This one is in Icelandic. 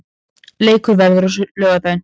Leikurinn verður á laugardaginn.